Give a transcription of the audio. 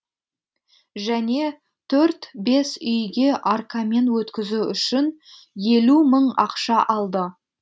және төрт бес үйге аркамен өткізу үшін елу мың ақша алды